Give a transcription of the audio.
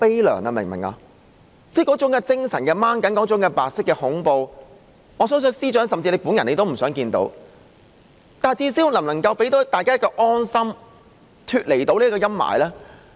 那種精神的拉緊、那種白色恐怖，我相信司長本人也不想看到，但最低限度政府能否讓大家有一份安心，脫離這種陰霾呢？